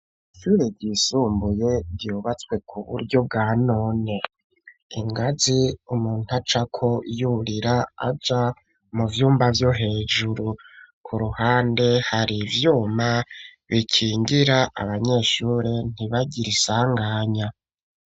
Ishure ryisumbuye ryubatswe ku buryo bwa none ingazi umuntu acako yurira aja mu vyumba vyo hejuru ku ruhande hari ibyuma bikingira abanyeshuri ntibagira isanganya.